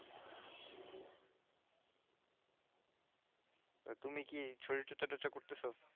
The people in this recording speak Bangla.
তুমি কি শরীর চর্চা টর্চা করতেছো